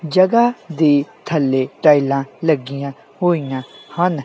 ਜਗਹਾ ਦੀ ਥੱਲੇ ਟਾਈਲਾਂ ਲੱਗੀਆਂ ਹੋਈਆਂ ਹਨ।